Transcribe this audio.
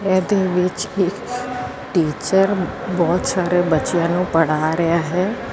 ਇਹਦੇ ਵਿੱਚ ਇੱਕ ਟੀਚਰ ਬਹੁਤ ਸਾਰੇ ਬੱਚਿਆਂ ਨੂੰ ਪੜ੍ਹਾ ਰਿਹਾ ਹੈ।